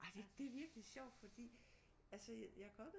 Ej det er virkelig sjovt fordi altså jeg er kommet